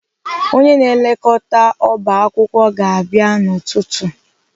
Onye na-elekọta ọba akwụkwọ ga-abịa n'ụtụtụ.